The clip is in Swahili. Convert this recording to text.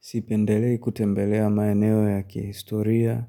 Sipendelei kutembelea maeneo ya kihistoria